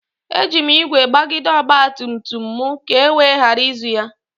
Eji m ígwè gbagide ọgba tum tum m ka e wee ghara izu ya.